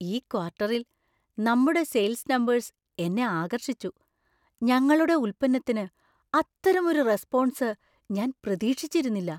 ഈ ക്വാർട്ടറിൽ നമ്മുടെ സെയിൽസ് നമ്പേഴ്സ് എന്നെ ആകർഷിച്ചു, ഞങ്ങളുടെ ഉൽപ്പന്നത്തിന് അത്തരമൊരു റെസ്‌പോൺസ് ഞാൻ പ്രതീക്ഷിച്ചിരുന്നില്ല.